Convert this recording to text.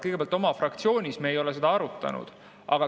Kõigepealt, oma fraktsioonis me ei ole seda arutanud.